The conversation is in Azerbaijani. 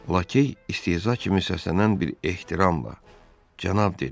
Lakey istehza kimi səslənən bir ehtiramla cənab dedi.